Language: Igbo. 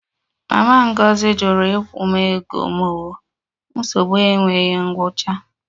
Mama Ngozi jụrụ ịkwụ m ego m o, nsogbu enweghị ngwụcha